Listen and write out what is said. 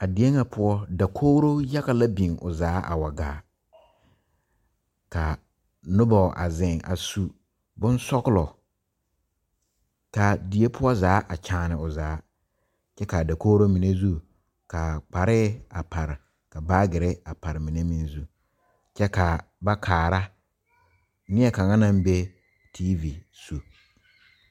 A die ŋa poɔ dakogro yaga la biŋ o zaa a wa gaa ka noba a zeŋ a su bonsɔglɔ k,a die poɔ zaa a kyaane o zaa kyɛ k,a dakogro mine zu ka kparɛɛ a pare ka baagere a pare mine meŋ zu kyɛ ka ba kaara neɛ kaŋa naŋ be tiivi zu.